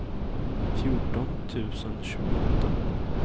fjorton tusen tjugoåtta